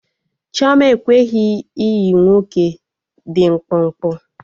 Chioma ekweghị ịyị nwoke dị mkpụmkpụ